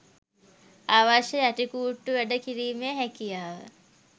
අවශ්‍ය යටිකුට්ටු වැඩ කිරීමේ හැකියාව